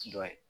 Dɔ ye